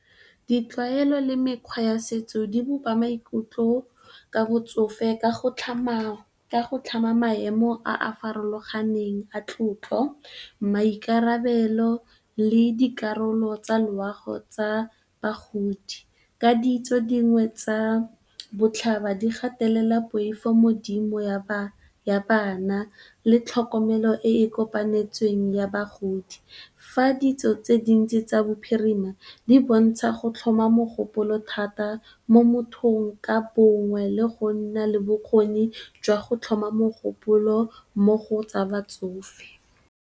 Ditlwaelo le mekgwa ya setso di bopa maikutlo ka botsofe ka go tlhama maemo a a farologaneng a tlotlo, maikarabelo le dikarolo tsa loago tsa bagodi. Ka ditso dingwe tsa botlhaba di gatelela poifo mo go dimo ya bana le tlhokomelo e e kopanetsweng ya bagodi. Fa ditso tse dintsi tsa bophirima di bontsha go tlhoma mogopolo thata mo mothong ka bongwe le go nna le bokgoni jwa go tlhoma mogopolo mo go tsa batsofe.